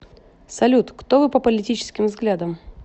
салют кто вы по политическим взглядам